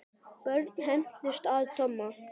Börn hændust að Tomma.